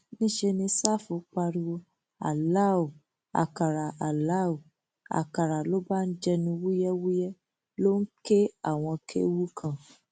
níṣẹ ní ṣáfù pariwo alau àkàrà alau àkàrà ló bá ń jẹnu wúyẹwúyẹ ló ń ké àwọn kéwu kan